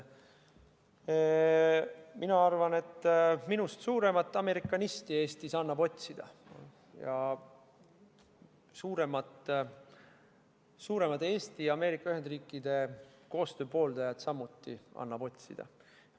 Mina arvan, et minust suuremat amerikanisti Eestis annab otsida ja suuremat Eesti ja Ameerika Ühendriikide koostöö pooldajat annab samuti otsida.